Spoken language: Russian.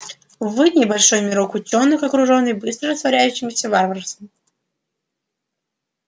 вы небольшой мирок учёных окружённый быстро распространяющимся варварством